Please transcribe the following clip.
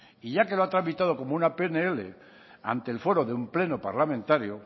y ya que lo ha tramitado como una pnl ante el foro de un pleno parlamentario